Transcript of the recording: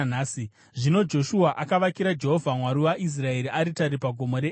Zvino Joshua akavakira Jehovha, Mwari waIsraeri, aritari pagomo reEbhari,